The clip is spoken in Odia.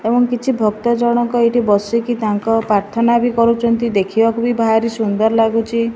ଏବଂ କିଛି ଭକ୍ତ ଜଣକ ଏଇଠି ବସିକି ତାଙ୍କର ପ୍ରାର୍ଥନା ବି କରୁଚନ୍ତି ଦେଖିବାକୁ ବି ଭାରି ସୁନ୍ଦର ଲାଗୁଚି।